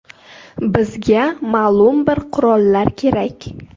Bizga ma’lum bir qurollar kerak.